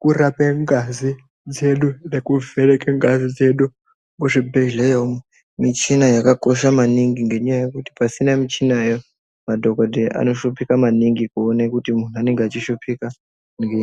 kurape ngazi dzedu ngekuvheneke ngazi dzedu muzvibhedhleya umo michina yakakosha maningi ngenyaya yokuti pasina michina aya madhokodheya anoshupika maningi kuone kuti muntu anenge achishupika ngei.